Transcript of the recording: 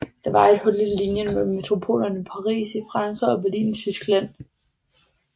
Der var et hul i linjen mellem metropolerne Paris i Frankrig og Berlin i Tyskland